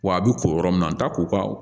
Wa a bɛ ko yɔrɔ min an ta ko ka